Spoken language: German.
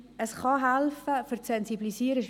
Ich denke, es kann für die Sensibilisierung helfen.